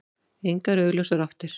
Engar augljósar áttir.